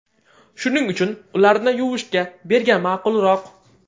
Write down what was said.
Shuning uchun ularni yuvishga bergan ma’qulroq.